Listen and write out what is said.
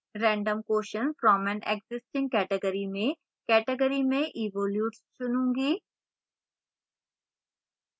random question from an existing category में category में evolutes चुनूँगी